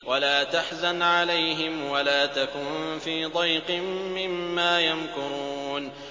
وَلَا تَحْزَنْ عَلَيْهِمْ وَلَا تَكُن فِي ضَيْقٍ مِّمَّا يَمْكُرُونَ